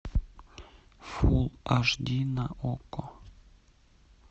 фулл аш ди на окко